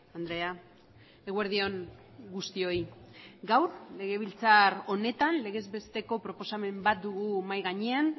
andrea eguerdi on guztioi gaur legebiltzar honetan legez besteko proposamen bat dugu mahai gainean